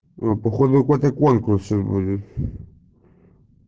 походу когда конкурс будет